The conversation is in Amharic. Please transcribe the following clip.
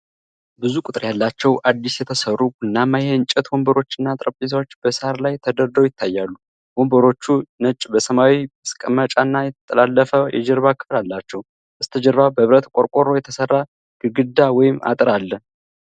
ብዙ ቁጥር ያላቸው አዲስ የተሰሩ ቡናማ የእንጨት ወንበሮችና ጠረጴዛዎች በሳር ላይ ተደርድረው ይታያሉ። ወንበሮቹ ነጭ በሰማያዊ መቀመጫና የተጠላለፈ የጀርባ ክፍል አላቸው፣ በስተጀርባ በብረት ቆርቆሮ የተሰራ ግድግዳ ወይም አጥር አለ።